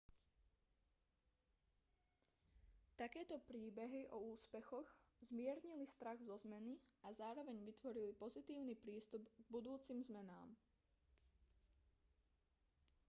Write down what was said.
takéto príbehy o úspechoch zmiernili strach zo zmeny a zároveň vytvorili pozitívny prístup k budúcim zmenám